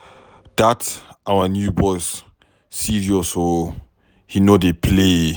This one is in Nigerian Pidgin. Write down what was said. Dat our new boss serious oo, he no dey play